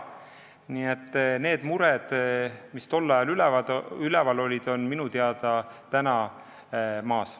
Nii et need mured, mis tol ajal üleval olid, on minu teada täna maas.